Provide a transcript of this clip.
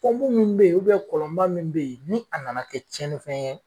pɔnpu munnu be yen u bɛ kɔlɔnba min be ye ni anana kɛ cɛninfɛn ye